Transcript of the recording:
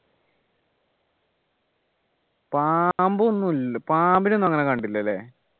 പാമ്പ് ഒന്നുമില്ല പാമ്പിനെ ഒന്നും അങ്ങനെ കണ്ടില്ല അല്ലേ